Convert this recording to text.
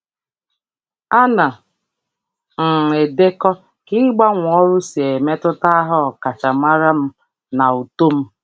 Ana m edekọ ka ịgbanwe ọrụ si emetụta aha ọkachamara m na uto m.